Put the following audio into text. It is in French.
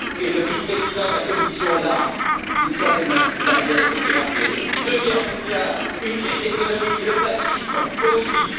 le vice président de la Commission l'a, d'une certaine manière, aussi rappelé deux guerres mondiales, une crise économique, le fascisme, Auschwitz.